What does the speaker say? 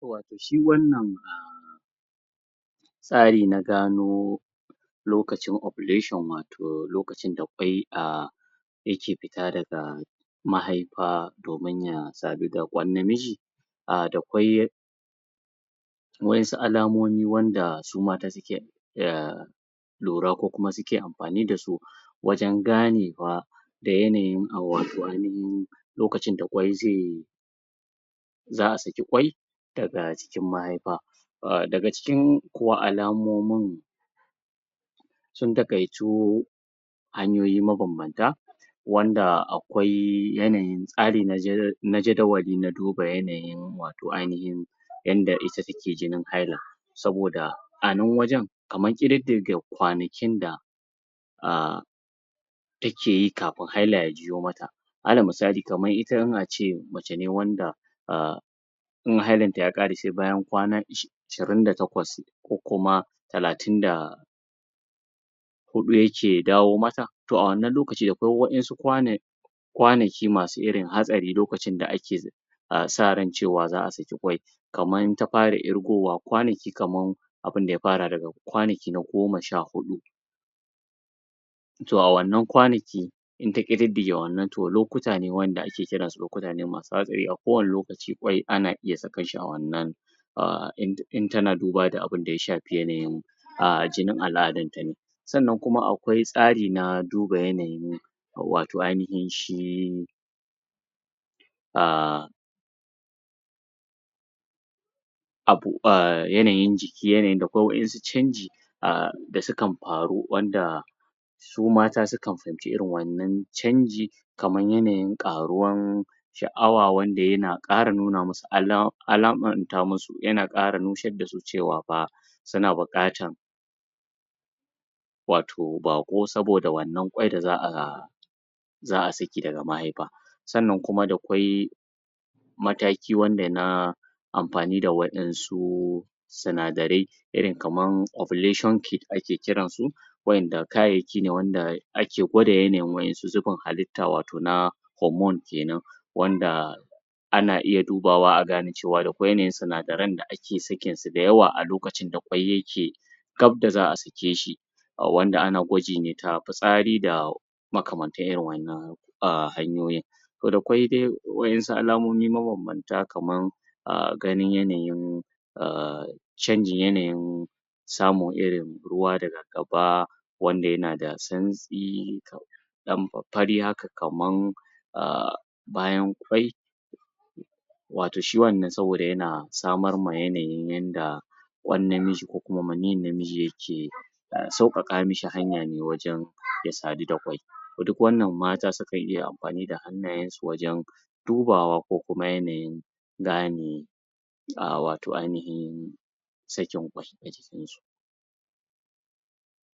Wato shi wannan a tsari na gano lokacin oplation wato lokacin da kwai a yake fita daga mahaifa domin ya sadu da kwan namiji a da kwai wa'yansu alamomi wanda su mata su ke? lura ko kuma suke amfani da su wajen ganewa da yanayin wato ainahin lokacin da kwai zai za a saki kwai daga jikin mahaifa daga cikin kuwa alamomin sun taƙaitu hanyoyi mabambanta wanda akwai yanayin tsarin na jadawali na duba yanayin wato ainahin yanda ita take jinin haila saboda a nan wajen kamar ƙididdiga kwanakin da a take yi kafin haila ya ya juyo mata alal misali kamar ita in ace mace ne wanda a kuma hailanta ya ƙare sai bayan kwana ashirin da takwas ko kuma talatin da da huɗu yake dawo mata to a wannan lokaci akwai wa'yansu kwana kwanaki masu irin hatsari lokacin da ake a sa ran cewa za a saki kwai kaman ta fara irgowa kwanaki kaman abinda ya fara daga kwanaki na goma sha huɗu to a wannan kwanaki in ta ƙididdige wannan to lokuta ne wanda ake kiransu lokuta ne masu hatsari a kowannen lokaci kwai ana iya sakar shi a wannan a in tana duba da abinda ya shafi yanayin a jinin al'adanta ne sannan kuma akwai tsari na duba yanayi wato ainahin shi a abu a yanayin jiki yanayin ko wa'yansu canji a da sukan faru wanda su mata sukan fahimci wannan canji kamar yanayin ƙaruwar sha'awa wanda yana ƙara nuna masu ala alamanta masu yana ƙara nushar da su cewa fa suna buƙatar wato baƙo saboda wannan akwai da za a za a saki daga mahaifa sannan kuma da kwai mataki wanda na amfani da wa'yansu sunadarai irin kamar Oblation kind ake kiransu wa'yanda wa'yanda kayayyaki ne da ake gwada yanayin wasu zubin hallita wato na homon wanda ana iya dubawa a gane cewa da kwai yanayin da ake sakinsu da yawa a lokacin da kwai yake gaf da za a sake shi wanda ana gwaji ta fitsari da makamantan irin wannan a hanyoyin to kwai dai wa'yansu alamomi mabambanta kamar a ganin yanayin a canjin yanayin samun irin ruwa daga gaba wanda yana da san wanda yana da santsi dan fari haka kamar a bayan kwai wato shi wannan saboda yana samar ma yanayin yanda kwan namiji ko kuma maniyin namiji yake sauƙaƙa mishi hanya ne wajen ya sadu da kwai duk wanna mata sukan iya amfani da hannayensu wajen dubawa ko kuma yanayin gane a wato ainahin sakin kwai a jikinsu